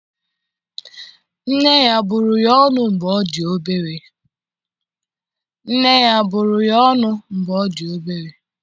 Nne ya ọ bụrụ ya ọnụ mgbe ọ dị obere?